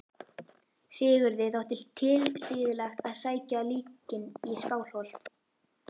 Sigurði þótti tilhlýðilegt að sækja líkin í Skálholt.